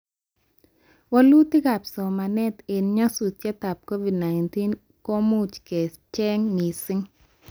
Walutikab somanet eng nyasutietab Covid-19 komuch kecheng mising